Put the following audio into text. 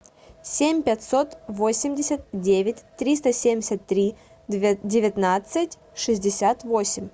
семь пятьсот восемьдесят девять триста семьдесят три девятнадцать шестьдесят восемь